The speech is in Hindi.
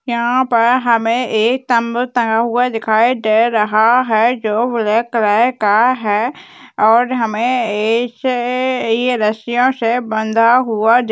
यहाँ पर हमें एक तम्बू तंगा हुआ दिखाई दे रहा है जो ब्लैक कलर का है और हमें एकअ--अ ये रस्सियाे से बंधा हुआ--